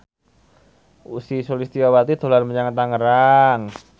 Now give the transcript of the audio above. Ussy Sulistyawati dolan menyang Tangerang